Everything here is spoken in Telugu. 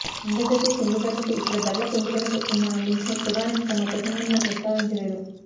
అంతర్జాతీయ చమురు ధరలకు ఇక్కడ ధరల పెంపుదలకు ఉన్న లింక్ను ప్రధాని తమ ప్రసంగంలో ప్రస్తావించలేదు